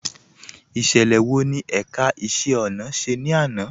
Ìṣẹlẹ wọ́ ni ẹ̀ká ìṣẹ̀ ọ̀nà ṣẹ̀ ni àná?